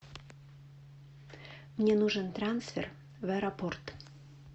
мне нужен трансфер в аэропорт